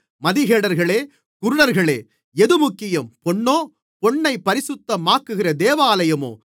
மதிகேடர்களே குருடர்களே எது முக்கியம் பொன்னோ பொன்னைப் பரிசுத்தமாக்குகிற தேவாலயமோ